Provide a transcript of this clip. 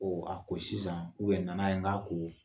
Ɔ a ko sisan nana ye n k'a ko